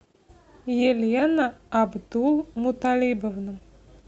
елена абдул муталибовна